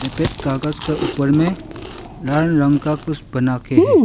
यहां पे कागज के ऊपर में लाल रंग का कुछ बनाके है।